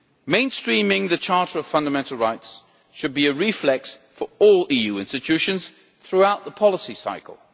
Mainstreaming the Charter of Fundamental Rights should be a reflex for all EU institutions throughout the policy cycle.